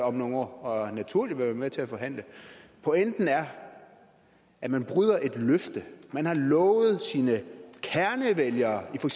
om nogle år og naturligt vil være med til at forhandle pointen er at man bryder et løfte man har lovet sine kernevælgere i for